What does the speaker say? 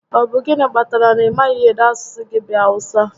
Ọ bụ gịnị kpatara na ị maghị ede asụsụ gị bụ Awụsa?